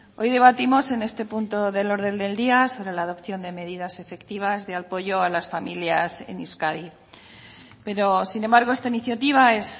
hoy debatimos en este punto del orden del día sobre la adopción de medidas efectivas de apoyo a las familias en euskadi pero sin embargo esta iniciativa es